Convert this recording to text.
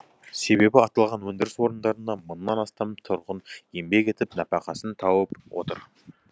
себебі аталған өндіріс орындарында мыңнан астам тұрғын еңбек етіп нәпақасын тауып отыр